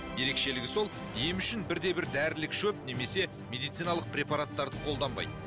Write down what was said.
ерекшелігі сол ем үшін бірде бір дәрілік шөп немесе медициналық препараттарды қолданбайды